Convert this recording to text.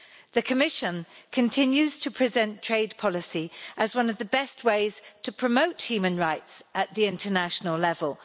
The Commission continues to present trade policy as one of the best ways to promote human rights at the international level.